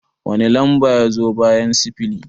Wani lamba ya zo bayan sifili?